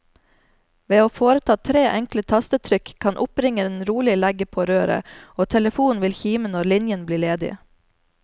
Ved å foreta tre enkle tastetrykk kan oppringeren rolig legge på røret, og telefonen vil kime når linjen blir ledig.